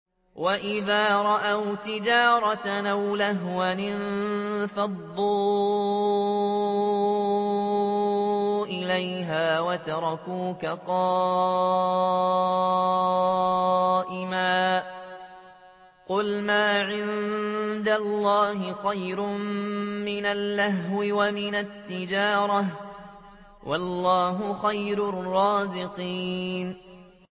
وَإِذَا رَأَوْا تِجَارَةً أَوْ لَهْوًا انفَضُّوا إِلَيْهَا وَتَرَكُوكَ قَائِمًا ۚ قُلْ مَا عِندَ اللَّهِ خَيْرٌ مِّنَ اللَّهْوِ وَمِنَ التِّجَارَةِ ۚ وَاللَّهُ خَيْرُ الرَّازِقِينَ